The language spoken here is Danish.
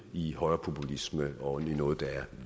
i højrepopulisme og noget der